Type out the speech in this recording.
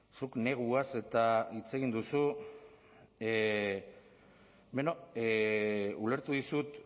zuk neguaz hitz egin duzu beno ulertu dizut